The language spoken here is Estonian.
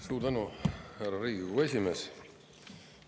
Suur tänu, härra Riigikogu esimees!